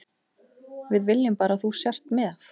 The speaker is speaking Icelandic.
Við viljum bara að þú sért með.